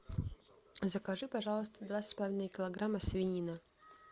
закажи пожалуйста два с половиной килограмма свинины